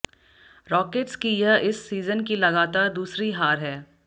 rockets की यह इस सीजन की लगातार दूसरी हार है